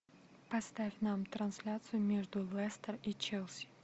поставь нам трансляцию между лестер и челси